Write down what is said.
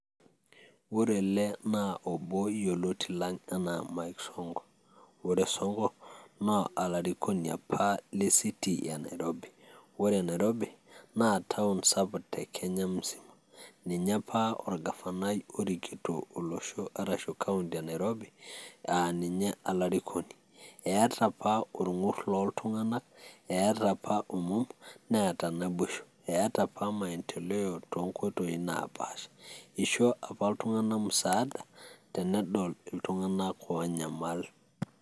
ore ele naa obo yioloti anaa Mike Sonko. ore Sonko naa olarikoni apa le city e Nairobi . ore Nairobi naa town sapuk te Kenya musima. ninye apa orgafanai orikinito olosho arashu county [cs[ e Nairobi aa ninye olarikoni. eeta apa orngur loltunganak , eeta apa omom ,neeta naboisho , eeta apa maendeleo tonkoitoi naapaasha . isho apa iltunganak musaada tenedol iltunganak onyamal.